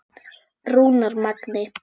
Rúnar Magni.